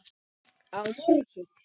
Á morgun.